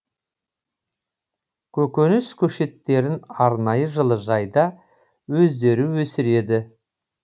көкөніс көшеттерін арнайы жылыжайда өздері өсіреді